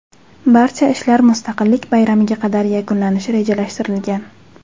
Barcha ishlar Mustaqillik bayramiga qadar yakunlanishi rejalashtirilgan.